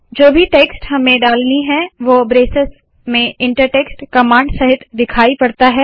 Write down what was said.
जो भी टेक्स्ट हमें डालनी है वोह ब्रेसेस में इंटर टेक्स्ट कमांड सहित दिखाई पड़ता है